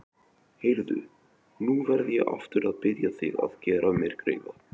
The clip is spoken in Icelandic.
Heyrðu. nú verð ég aftur að biðja þig að gera mér greiða!